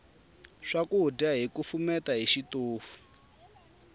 swakudya hi kufumeta hi xitofu